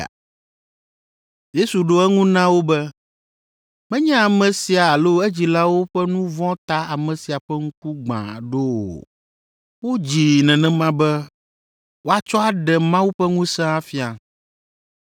Yesu ɖo eŋu na wo be, “Menye ame sia alo edzilawo ƒe nu vɔ̃ ta ame sia ƒe ŋku gbã ɖo o. Wodzii nenema be woatsɔ aɖe Mawu ƒe ŋusẽ afia.